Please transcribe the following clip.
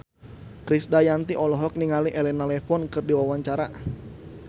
Krisdayanti olohok ningali Elena Levon keur diwawancara